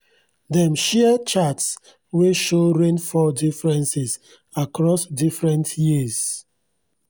dem share charts wey show rainfall differences across different years